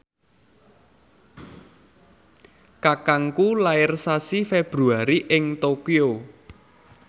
kakangku lair sasi Februari ing Tokyo